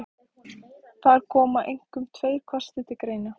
Þar koma einkum tveir kostir til greina.